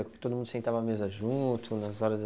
Todo mundo sentava à mesa junto?